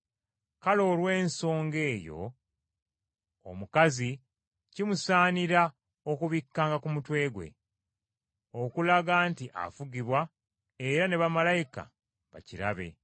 Kale olw’ensonga eyo, omukazi kimusaanira okubikkanga ku mutwe gwe, okulaga nti afugibwa era ne bamalayika bakirabe.